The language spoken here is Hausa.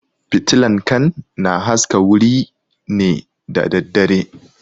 Fitilan kan na haska wuri ne da daddare